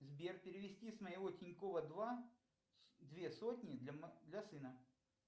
сбер перевести с моего тинькова два две сотни для сына